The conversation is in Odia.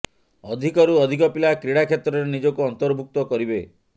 ଅଧିକରୁ ଅଧିକ ପିଲା କ୍ରୀଡ଼ା କ୍ଷେତ୍ରରେ ନିଜକୁ ଅନ୍ତର୍ଭୁକ୍ତ କରିବେ